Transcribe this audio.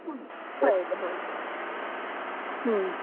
ಹೌದು ಹೌದು ಹ್ಮ್.